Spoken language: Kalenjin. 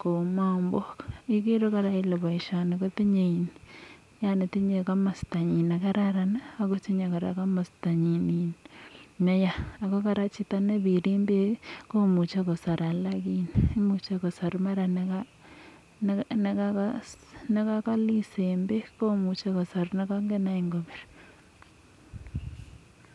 kou mambok. igeere kola kole boisioni kotinye komastanyi nekararan ak kotinye komastanyi neya . imuch kosar nekakalis en bek ko much kosar nekakabir